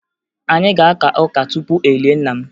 Anyị ga-aka ụka tupu e lie nna m